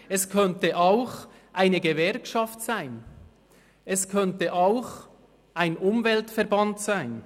es könnte auch eine Gewerkschaft sein, es könnte auch ein Umweltverband sein.